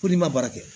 Ko n'i ma baara kɛ